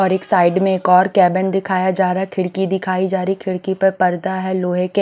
और एक साइड में एक और कैबिन दिखाया जा रहा है खिड़की दिखाई जा रही है खिड़की पर पर्दा है लोहे के --